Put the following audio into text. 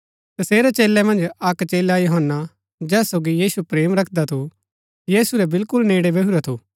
तसेरै चेलै मन्ज अक्क चेला यूहन्‍ना जैस सोगी यीशु प्रेम रखदा थू यीशु रै बिलकुल नेड़ै बैहूरा थू